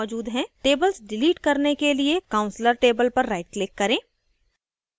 tables delete करने के लिए counselor table पर rightclick करें